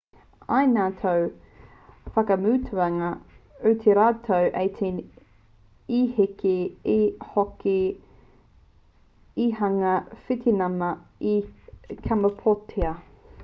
i ngā tau whakamutunga o te rautau 18 i eke hoki te hunga witināma i kamapōtia